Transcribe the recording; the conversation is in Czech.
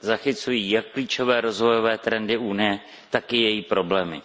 Zachycují jak klíčové rozvojové trendy Unie, tak i její problémy.